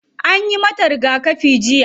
Anyi mata rigakafi jiya.